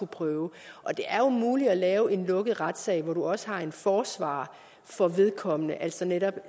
prøvet det er jo muligt at lave en lukket retssag hvor du også har en forsvarer for vedkommende altså netop